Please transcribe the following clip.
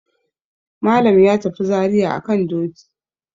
Malam ya tafi Zariya a kan doki.